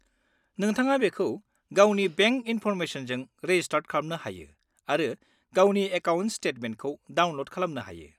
-नोंथाङा बेखौ गावनि बेंक इनफरमेसनजों रेजिस्टार खालामनो हायो आरो गावनि एकाउन्ट स्टेटमेन्टखौ डाउनल'ड खालामनो हायो।